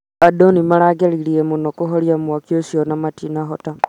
Andũ nĩmarageretie mũno kũhoria mwaki ũcio no matinahota